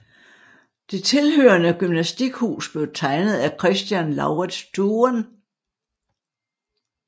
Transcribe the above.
Den tilhørende gymnastikhus blev tegnet af Christian Laurits Thuren